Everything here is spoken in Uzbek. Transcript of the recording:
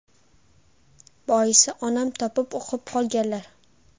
Boisi, onam topib o‘qib qolganlar.